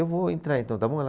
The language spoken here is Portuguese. Eu vou entrar então, está bom?